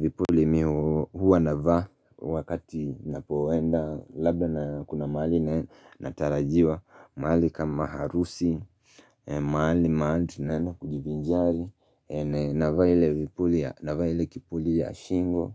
Vipuli mimi huwa navaa wakati ninapoenda labda na kuna mahali natarajiwa mahali kama harusi, mahali maana tunaenda kujivinjari navaa ile kipuli ya shingo,